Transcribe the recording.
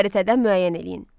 Xəritədən müəyyən eləyin.